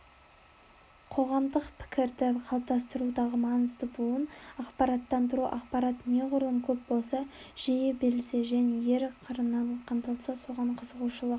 қоғамдық пікірді қалыптастырудағы маңызды буын ақпараттандыру ақпарат неғұрлым көп болса жиі берілсе және әр қырынан қамтылса соған қызығушылық